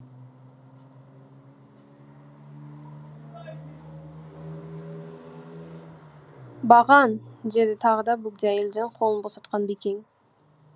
баған деді тағы да бөгде әйелден қолын босатқан бекен